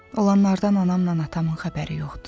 Olanlardan anamla atamın xəbəri yoxdur.